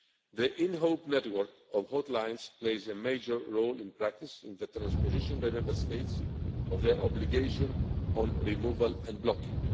The Inhope network of hotlines plays a major role in practice in the transposition by Member States of their obligation regarding removal and blocking.